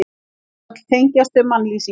Öll tengjast þau mannlýsingum.